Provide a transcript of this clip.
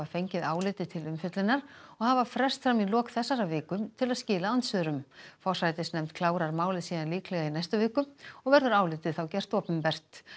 fengið álitið til umfjöllunar og hafa frest fram í lok þessarar viku til að skila andsvörum forsætisnefnd klárar málið síðan líklega í næstu viku og verður álitið þá gert opinbert